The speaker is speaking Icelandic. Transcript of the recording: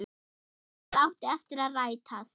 Það átti eftir að rætast.